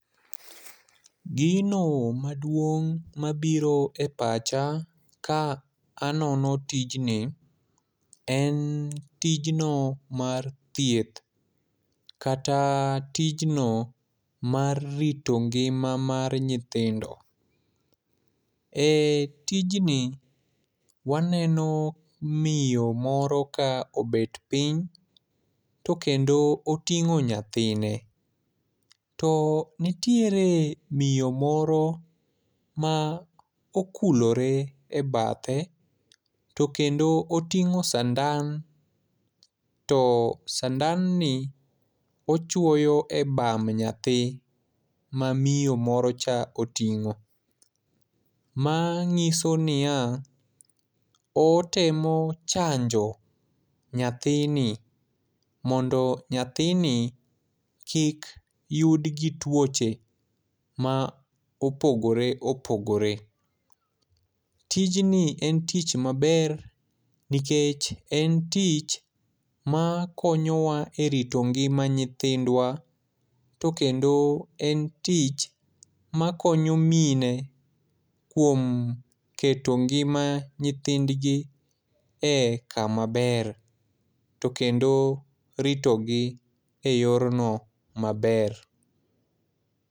Gino maduong' mabiro e pacha ka anono tijni, en tijno mar thieth kata tijno mar rito ngima mar nyithindo. E tijni, waneno miyo moro ka obet piny. To kendo oting'o nyathine. To nitiere miyo moro ma okulore e bathe, to kendo oting'o sandan. To sandanni, ochwoyo e bamb nyathi ma miyo moro cha oting'o. Ma nyiso niya, otemo chanjo nyathini mondo nyathini kik yud gi twoche ma opogore opogore. Tijni en tich maber, nikech, en tich ma koyowa e rito ngima nyithindwa. To kendo en tich ma koyo mine kuom keto ngima nyithindgi e kama ber. To kendo rito gi e yorno maber.